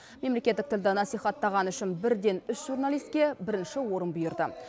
мемлекеттік тілді насихаттағаны үшін бірден үш журналиске бірінші орын бұйырды